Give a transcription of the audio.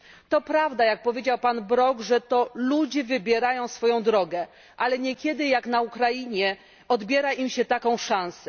To prawda, jak powiedział pan Brok, że to ludzie wybierają swoją drogę, ale niekiedy, jak na Ukrainie, odbiera się im taką szansę.